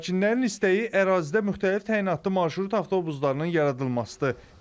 Sakinlərin istəyi ərazidə müxtəlif təyinatlı marşrut avtobuslarının yaradılmasıdır.